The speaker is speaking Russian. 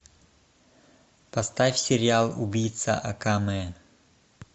поставь сериал убийца акаме